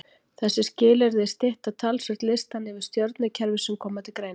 þessi skilyrði stytta talsvert listann yfir stjörnukerfi sem koma til greina